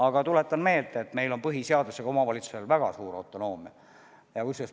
Aga tuletan meelde, et meil on põhiseadusega omavalitsustele antud väga suur autonoomia.